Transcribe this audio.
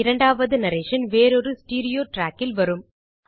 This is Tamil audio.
2ஆவது நரேஷன் வேறொரு ஸ்டீரியோ trackஇல் வரும்